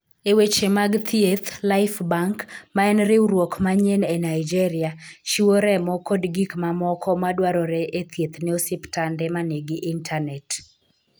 E weche mag thieth, Lifebank, ma en riwruok manyien e Nigeria, chiwo remo kod gik mamoko madwarore e thieth ne osiptande ma nigi intanet.